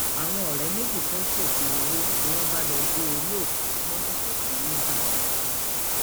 àwọn ọrẹ méjì fẹẹ ṣoògùn owó ni wọn bá lọọ gé orí òkú tí wọn ṣẹṣẹ sin nígbàdàn